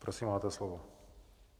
Prosím, máte slovo.